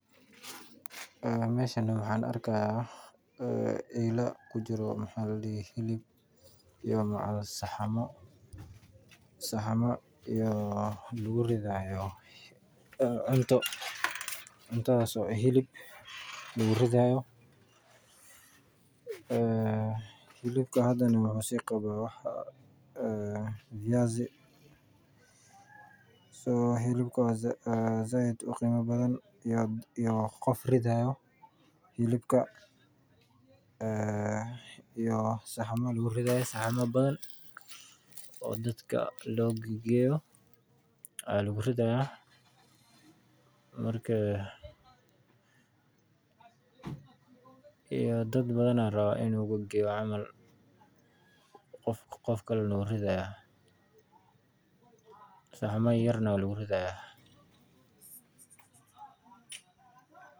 Meeshan waxaan arki haaya eela kujiro hilib iyo saxamo lagu ridi haayo hilib hilibka wuxuu qabaa fayasi sait ayuu u qiima badan yahay iyo qof ridi haayo iyo saxamo badan oo lagu ridi haayo iyo dad badan ayaa laraaba in loo geeyo saxama yaryar ayaa lagu ridi haaya.